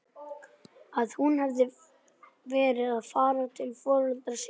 Að hún hefði verið að fara til foreldra sinna?